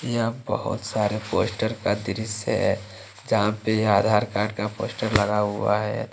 यह बहोत सारे पोस्टर का दृश्य हैं जहाँ पे आधार कार्ड का पोस्टर लगा हुआ हैं।